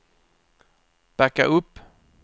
backa upp